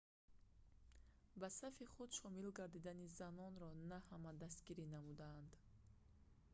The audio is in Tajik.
ба сафи худ шомил гардидани занонро на ҳама дастгирӣ намуданд